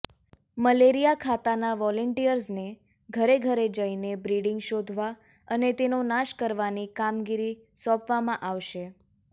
malaria ખાતાના વોલિયન્ટર્સને ઘરે ઘરે જઈને બ્રિડીંગ શોધવા અને તેનો નાશ કરવાની કામગીરી સોંપવામાં આવશે